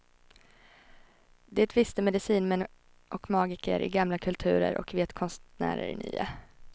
Det visste medicinmän och magiker i gamla kulturer och vet konstnärer i nya.